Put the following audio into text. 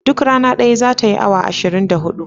Duk rana daya zata yi awa ashirin da hudu